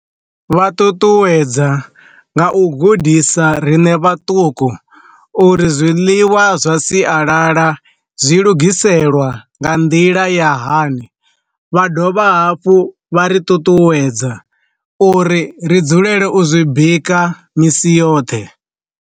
Vha ṱuṱuwedza nga u gudisa riṋe vhaṱuku uri zwiḽiwa zwa sialala zwi lugiselwa nga nḓila ya hani, vha dovha hafhu vha ri ṱuṱuwedza uri ri dzulele u zwi bika misi yoṱhe.